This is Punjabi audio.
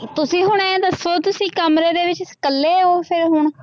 ਤੁਸੀਂ ਹੁਣ ਇਉਂ ਦੱਸੋ ਤੁਸੀਂ ਕਮਰੇ ਦੇ ਵਿੱਚ ਇਕੱਲੇ ਹੋ ਫਿਰ ਹੁਣ